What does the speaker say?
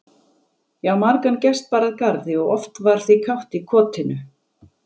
Já, margan gest bar að garði og oft var því kátt í kotinu.